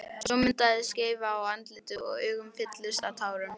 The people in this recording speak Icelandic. Svo myndaðist skeifa á andlitinu og augun fylltust tárum.